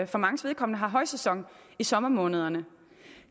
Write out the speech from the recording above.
for manges vedkommende har højsæson i sommermånederne